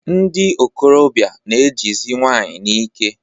Ndị nkorobịa na-ejizi nwanyị n'ike.